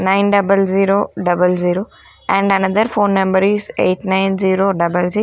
nine double zero double zero and another phone number is eight nine zero double si--